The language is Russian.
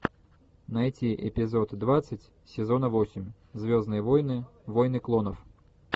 найти эпизод двадцать сезона восемь звездные войны войны клонов